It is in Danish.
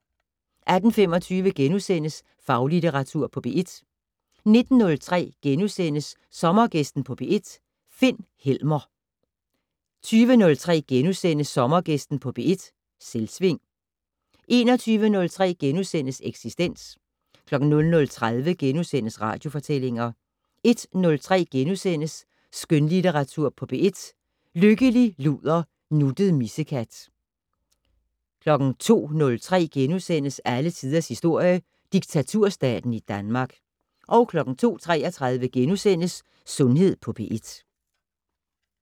18:25: Faglitteratur på P1 * 19:03: Sommergæsten på P1: Finn Helmer * 20:03: Sommergæsten på P1: Selvsving * 21:03: Eksistens * 00:30: Radiofortællinger * 01:03: Skønlitteratur på P1: Lykkelig luder, nuttet missekat * 02:03: Alle tiders historie: Diktaturstaten i Danmark * 02:33: Sundhed på P1 *